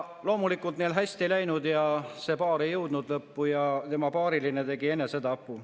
Loomulikult neil ei hästi läinud, see paar ei jõudnud lõppu ja tema paariline tegi enesetapu.